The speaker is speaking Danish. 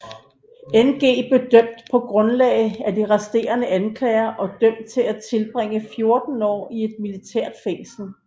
Ng blev dømt på grundlag af de resterende anklager og dømt til at tilbringe 14 år i et militært fængsel